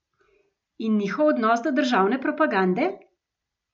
In njihov odnos do državne propagande?